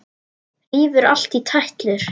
Rífur allt í tætlur.